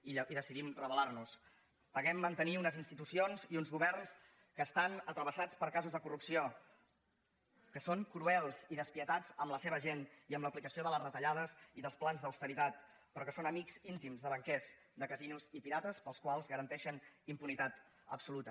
i decidim rebel·paguem mantenir unes institucions i uns governs que estan travessats per casos de corrupció que són cruels i despietats amb la seva gent i amb l’aplicació de les retallades i dels plans d’austeritat però que són amics íntims de banquers de casinos i pirates als quals garanteixen impunitat absoluta